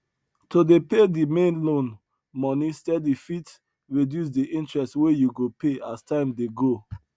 to dey pay di main loan money steady fit reduce di interest wey you go pay as time dey go